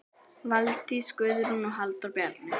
Valdís Guðrún og Halldór Bjarni.